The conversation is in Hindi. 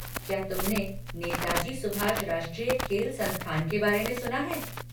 क्या तुमने नेताजी सुभाष राष्ट्रीय खेल संस्थान के बारे में सुना है?